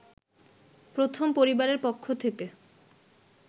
প্রথম পরিবারের পক্ষ থেকে